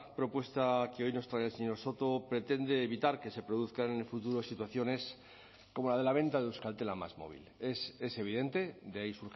propuesta que hoy nos trae el señor soto pretende evitar que se produzcan en el futuro situaciones como la de la venta de euskaltel a másmóvil es evidente de ahí